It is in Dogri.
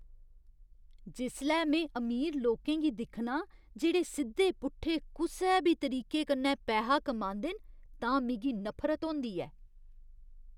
जिसलै में अमीर लोकें गी दिक्खनां जेह्ड़े सिद्धे पुट्ठे कुसै बी तरीके कन्नै पैहा कमांदे न, तां मिगी नफरत होंदी ऐ।